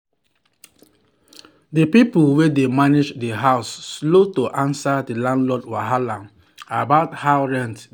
the people wey dey manage the house slow to answer the landlord wahala about how rent dey come in.